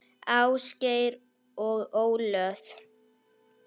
Ásgeir og Ólöf.